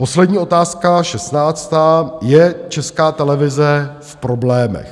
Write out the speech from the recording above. Poslední otázka, šestnáctá - je Česká televize v problémech?